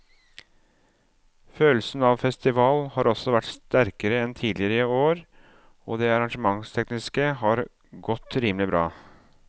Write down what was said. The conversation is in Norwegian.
Følelsen av festival har også vært sterkere enn tidligere år og det arrangementstekniske har godt rimelig bra.